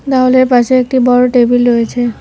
দেওয়ালের পাশে একটি বড় টেবিল রয়েছে।